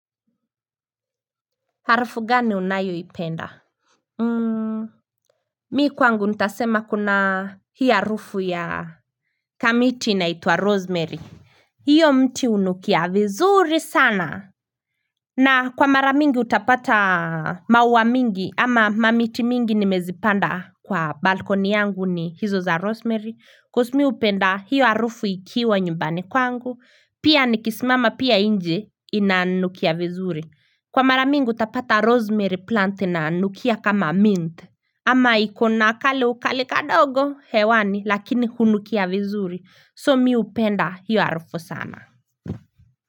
Harufu gani unayo ipenda? Muuu. Mi kwangu nitasema kuna hiya rufu ya kamiti inaituwa rosemary. Hiyo mti unukia vizuri sana. Na kwa maramingi utapata mawa mingi ama mamiti mingi nimezipanda kwa balkoni yangu ni hizo za rosemary. Kwa mi upenda hiya rufu ikiwa nyumbani kwangu. Pia nikisimama pia inje inanukia vizuri. Kwa maramingu tapata rosemary plant na anukia kama mint. Ama ikona kale ukale kadogo hewani lakini hunukia vizuri so miupenda yu arufu sana.